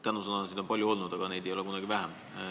Tänusõnasid on olnud palju, aga neid ei ole kunagi vähe.